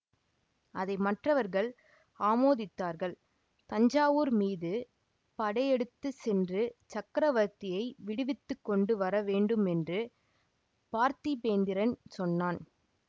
அதை மற்றவர்கள் ஆமோதித்தார்கள் தஞ்சாவூர் மீது படையெடுத்து சென்று சக்கரவர்த்தியை விடுவித்து கொண்டு வர வேண்டும் என்று பார்த்திபேந்திரன் சொன்னான்